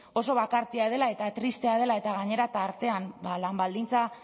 oso bakartia dela eta tristea dela eta gainera tartean lan baldintza